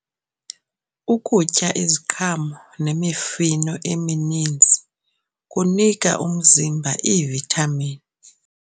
Ukutya iziqhamo nemifuno emininzi kunika umzimba iivithamini.